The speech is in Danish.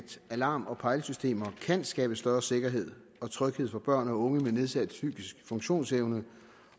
alarm og pejlesystemer kan skabe større sikkerhed og tryghed for børn og unge med nedsat psykisk funktionsevne